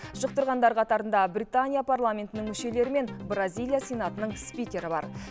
жұқтырғандар қатарында британия парламентінің мүшелері мен бразилия сенатының спикері бар